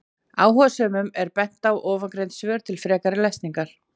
Áhugasömum er bent á ofangreind svör til frekari lesningar.